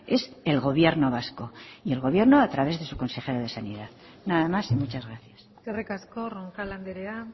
es el gobierno vasco y el gobierno a través de su consejero de sanidad nada más y muchas gracias eskerrik asko roncal andrea